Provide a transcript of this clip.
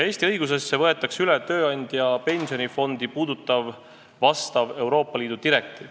Eesti õigusesse võetakse üle ka tööandja pensionifondi puudutav Euroopa Liidu direktiiv.